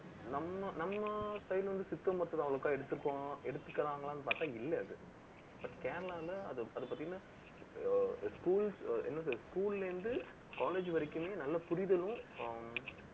நம்ம நம்ம side வந்து, சித்தா மருத்துவத்தை, அவ்வளுக்கா எடுத்திருக்கோம். எடுத்துக்கிறாங்களான்னு, பார்த்தா, இல்லை, அது. கேரளால அது, அது பாத்தீங்கன்னா, ஆஹ் என்ன சொல்றது school ல இருந்து, college வரைக்குமே, நல்ல புரிதலும் ஹம்